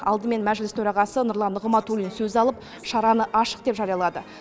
алдымен мәжіліс төрағасы нұрлан нығматулин сөз алып шараны ашық деп жариялады